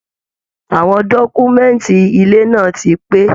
Àwọn dọkumẹ̀nti ilẹ̀ náà tí pé.